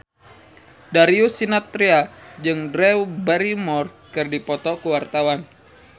Darius Sinathrya jeung Drew Barrymore keur dipoto ku wartawan